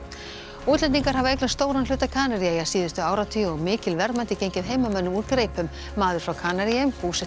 útlendingar hafa eignast stóran hluta Kanaríeyja síðustu áratugi og mikil verðmæti gengið heimamönnum úr greipum maður frá Kanaríeyjum búsettur